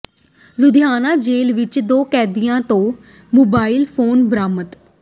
ਲੁਧਿਆਣਾ ਜੇਲ੍ਹ ਵਿੱਚ ਦੋ ਕੈਦੀਆਂ ਤੋਂ ਮੋਬਾਈਲ ਫ਼ੋਨ ਬਰਾਮਦ